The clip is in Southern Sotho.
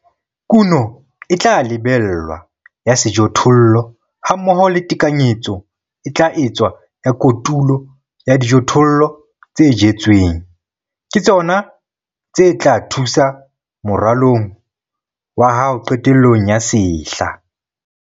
Kuno e tla lebellwa ya sejothollo hammoho le tekanyetso e tla etswa ya kotulo ya dijothollo tse jetsweng, ke tsona tse tla thusa moralong wa hao qetellong ya sehla.